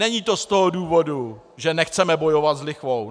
Není to z toho důvodu, že nechceme bojovat s lichvou.